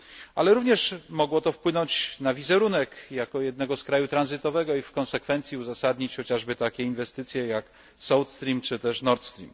Ale również mogło to wpłynąć na wizerunek, jako jednego z krajów tranzytowych, i w konsekwencji uzasadnić chociażby takie inwestycje, jak Southstream, czy też Nordstream.